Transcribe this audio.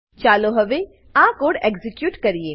ચાલો હવે આ કોડ એક્ઝીક્યુટ કરીએ